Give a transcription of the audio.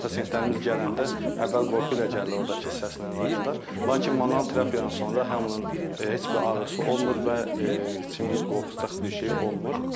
Pasientlərimiz gələndə əvvəl qorxu ilə gəlirlər oradakı səslə əlaqədar, lakin manual terapiyadan sonra həm onun heç bir ağrısı olmur və heç kimin qorxacaq bir şey olmur.